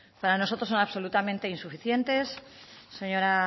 para nosotros son absolutamente insuficientes señora